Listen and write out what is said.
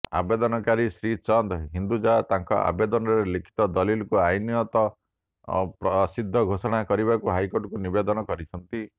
ଆବେଦନକାରୀ ଶ୍ରୀଚନ୍ଦ ହିନ୍ଦୁଜା ତାଙ୍କ ଆବେଦନରେ ଲିଖିତ ଦଲିଲକୁ ଆଇନତଃ ଅସିଦ୍ଧ ଘୋଷଣା କରିବାକୁ କୋର୍ଟଙ୍କୁ ନିବେଦନ କରିଛନ୍ତି